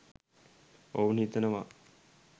ඔවුන් හිතනවා.